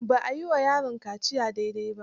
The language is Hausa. Ba a yi wa yaron kaciya dai dai ba.